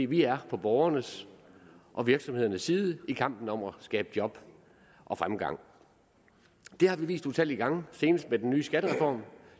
vi er på borgernes og virksomhedernes side i kampen om at skabe job og fremgang det har vi vist utallige gange senest med den nye skattereform